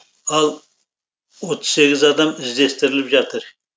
ал отыз сегіз адам іздестіріліп жатыр